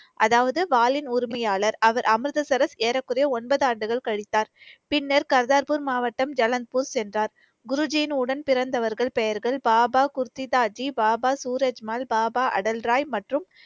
அதாவது, வாலின் உரிமையாளர். அவர் அமிர்தசரஸ் ஏறக்குறைய ஒன்பது ஆண்டுகள் கழித்தார். பின்னர் கர்தார்பூர் மாவட்டம் ஜலந்த்பூர் சென்றார். குருஜின் உடன் பிறந்தவர்கள் பெயர்கள் பாபா குர்திதாஜி, பாபா சூரஜ்மல், பாபா அடல்ராய் மற்றும்